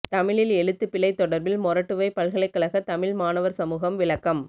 தமிழில் எழுத்துப் பிழை தொடர்பில் மொறட்டுவை பல்கலைக்கழக தமிழ் மாணவர் சமூகம் விளக்கம்